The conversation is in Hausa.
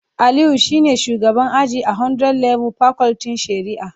Aliyu shine shugaban aji a 100level pakultin shari'a